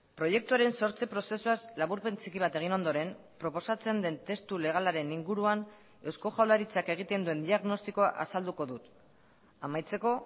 proiektuaren sortze prozesuaz laburpen txiki bat egin ondoren proposatzen den testu legalaren inguruan eusko jaurlaritzak egiten duen diagnostikoa azalduko dut amaitzeko